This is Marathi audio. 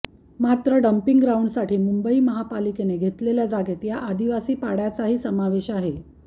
मात्र डम्पिंग ग्राउंडसाठी मुंबई महापालिकेनं घेतलेल्या जागेत या आदिवासी पाड्याचाही समावेश आहे